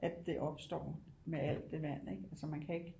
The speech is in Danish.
At det opstår med alt det vand så man kan ikke